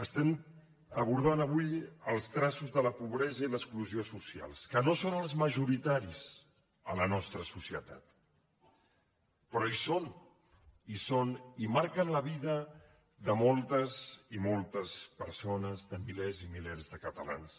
estem abordant avui els traços de la pobresa i l’exclusió socials que no són els majoritaris a la nostra societat però hi són hi són i marquen la vida de moltes i moltes persones de milers i milers de catalans